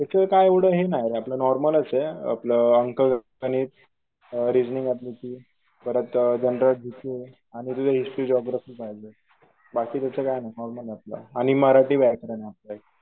त्याच काय एव्हडं हे नाय रे आपलं नॉर्मलच आपलं हिस्टरी जिओग्राफी बाकी तास काय नाय नॉर्मल आपलं आणि मराठी व्याकरण